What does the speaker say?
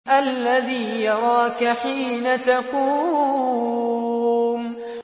الَّذِي يَرَاكَ حِينَ تَقُومُ